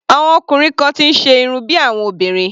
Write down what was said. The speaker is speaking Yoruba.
Àwọn ọkùnrin kan ti ń ṣe irun bí àwọn obìnrin.